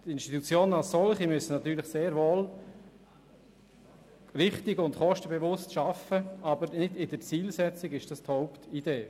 Die Institutionen als solche müssen natürlich sehr wohl richtig und kostenbewusst arbeiten, aber in der Zielsetzung ist das nicht die Hauptidee.